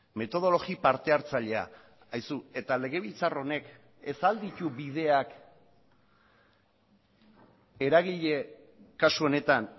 metodologi partehartzailea haizu eta legebiltzar honek ez ahal ditu bideak eragile kasu honetan